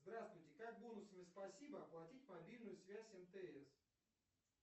здравствуйте как бонусами спасибо оплатить мобильную связь мтс